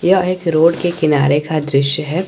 यह एक रोड के किनारे का दृश्य है।